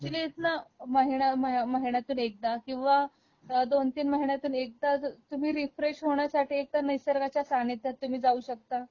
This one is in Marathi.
म्हणजे अॅक्चुअली इथन महिन्या महिन्यातून एकदा किंवा दोन तीन महिन्यातून एकदा तुम्ही रीफ्रेश होण्यासाठी एकतर निसर्गाच्या सानिध्यात तुम्ही जाऊ शकता